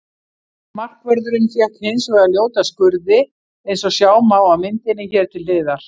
Markvörðurinn fékk hins vegar ljóta skurði eins og sjá má á myndinni hér til hliðar.